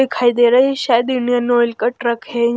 दिखाई दे रहे हैं शायद इंडियन ऑयल का ट्रक है।